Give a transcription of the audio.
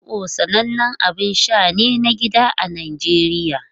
Zobo sanannen abin sha ne na gida a Najeriya.